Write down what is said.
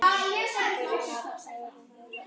Gunnar Hörður.